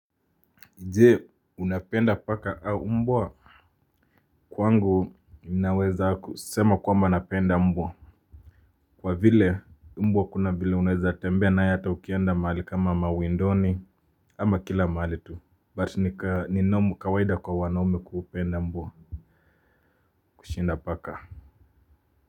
Je unapenda paka au mbwa kwangu naweza kusema kwamba napenda mbwa kwa vile mbwa kuna vile unaweza tembea naye hata ukienda mahali kama mawindoni ama kila mahali tu but ni kawaida kwa wanaume kupenda mbwa kushinda paka.